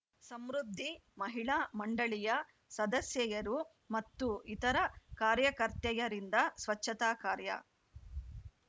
ಸಮೃದ್ಧಿ ಮಹಿಳಾ ಮಂಡಳಿಯ ಸದಸ್ಯೆಯರು ಮತ್ತು ಇತರ ಕಾರ್ಯಕರ್ತೆಯರಿಂದ ಸ್ವಚ್ಛತಾ ಕಾರ್ಯ